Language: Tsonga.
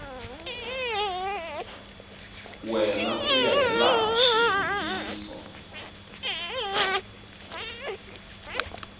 wena ku ya hilaha swivutiso